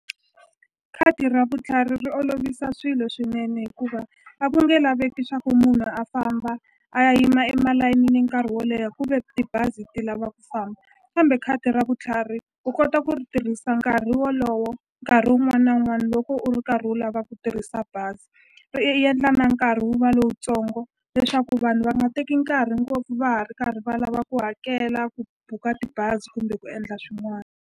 Khadi ra vutlhari ri olovisa swilo swinene hikuva a ku nge laveki swa ku munhu a famba a ya yima emalayinini nkarhi wo leha kuve tibazi ti lava ku famba kambe khadi ra vutlhari u kota ku ri tirhisa nkarhi wolowo nkarhi wun'wana na wun'wani loko u ri karhi u lava ku tirhisa bazi ri yendla na nkarhi wu va lowutsongo leswaku vanhu va nga teki nkarhi ngopfu va ha ri karhi va lava ku hakela ku buka tibazi kumbe ku endla swin'wani.